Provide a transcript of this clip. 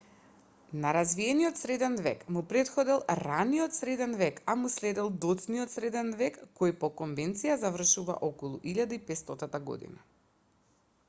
на развиениот среден век му претходел раниот среден век а му следел доцниот среден век кој по конвенција завршува околу 1500 година